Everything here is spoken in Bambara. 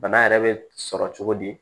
Bana yɛrɛ bɛ sɔrɔ cogo di